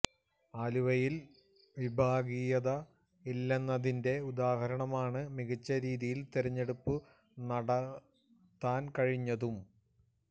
ആലപ്പുഴയില് വിഭാഗീയത ഇല്ലെന്നതിന്റെ ഉദ്ദാഹരണമാണ് മികച്ച രീതിയില് തെരഞ്ഞെടുപ്പ് നടത്താന് കഴിഞ്ഞതും